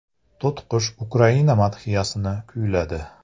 To‘tiqush Ukraina madhiyasini kuyladi .